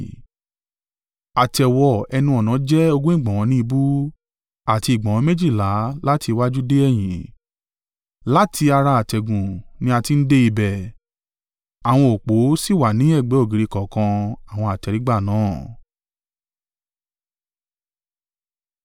Àtẹ̀wọ ẹnu-ọ̀nà jẹ́ ogún ìgbọ̀nwọ́ ní ìbú, àti ìgbọ̀nwọ́ méjìlá láti iwájú dé ẹ̀yìn. Láti ara àtẹ̀gùn ní a ti ń dé ibẹ̀ àwọn òpó sì wà ni ẹ̀gbẹ́ ògiri kọ̀ọ̀kan àwọn àtẹ́rígbà náà.